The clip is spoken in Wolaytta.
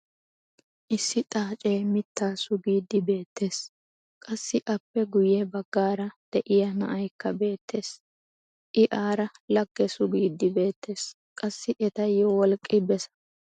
issi xaacee mitaa sugiidi beetees. qassi appe guye bagaara diya na'aykka beetees. i aara lagge sugiidi beetees. qassi etayo wolqqi bessa.